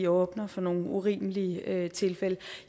åbner for nogle urimelige tilfælde